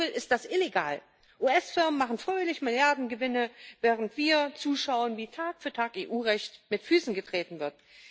Wenn man so will, ist das illegal. US Firmen machen fröhlich Milliardengewinne, während wir zuschauen, wie Tag für Tag EU Recht mit Füßen getreten wird.